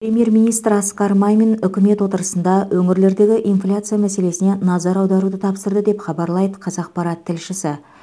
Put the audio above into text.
премьер министр асқар мамин үкімет отырысында өңірлердегі инфляция мәселесіне назар аударуды тапсырды деп хабарлайды қазақпарат тілшісі